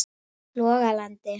Logalandi